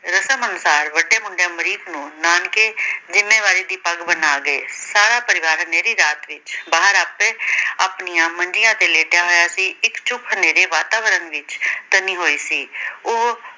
ਰਸਮ ਅਨੁਸਾਰ ਵੱਡੇ ਮੁੰਡੇ ਅਮਰੀਕ ਨੂੰ ਨਾਨਕੇ ਜਿੰਮੇਵਾਰੀ ਦੀ ਪੱਗ ਬਨਾ ਗਏ। ਸਾਰਾ ਪਰਿਵਾਰ ਹਨੇਰੀ ਰਾਤ ਵਿੱਚ ਬਾਹਰ ਆਪੇ ਆਪਣੀਆਂ ਮੰਜ਼ੀਆਂ ਤੇ ਲੇਟਿਆ ਹੋਇਆ ਸੀ। ਇਕ ਚੁੱਪ ਹਨੇਰੇ ਵਾਤਾਵਰਣ ਵਿੱਚ ਤਨੀ ਹੋਈ ਸੀ।